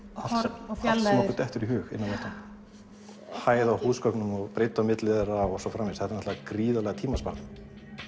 horn og fjarlægðir okkur dettur í hug inn á vettvangi hæð á húsgögnum og breidd á milli þeirra og svo framvegis þetta er náttlega gríðarlegur tímasparnaður